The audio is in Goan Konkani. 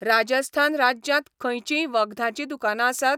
राजस्थान राज्यांत खंयचींय वखदाचीं दुकानां आसात?